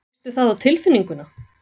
Fékkstu það á tilfinninguna?